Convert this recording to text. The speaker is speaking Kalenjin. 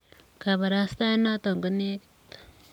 Kabarastaet notok konegit.